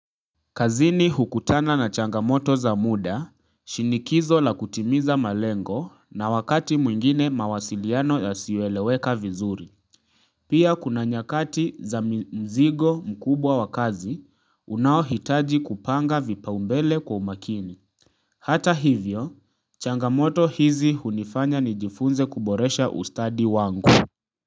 Kazini hukutana na changamoto za muda, shinikizo la kutimiza malengo na wakati mwingine mawasiliano yasiyoeleweka vizuri. Pia kuna nyakati za mzigo mkubwa wa kazi, unaohitaji kupanga vipaa umbele kwa umakini. Hata hivyo, changamoto hizi hunifanya nijifunze kuboresha ustadi wangu.